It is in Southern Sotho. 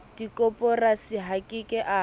dikoporasi a ke ke a